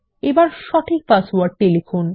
এখন সঠিক পাসওয়ার্ডটি লিখুন